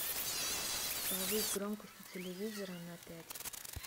повысь громкость у телевизора на пять